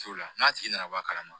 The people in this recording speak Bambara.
T'o la n'a tigi nana bɔ a kalama